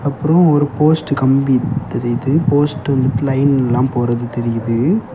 அப்ரோ ஒரு போஸ்ட் கம்பி தெரியுது போஸ்ட்ல இருந்து லைன் எல்லா போறது தெரியுது.